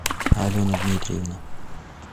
алена дмитриевна